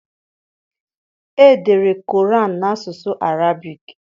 Edere Quran n'asụsụ Arabic.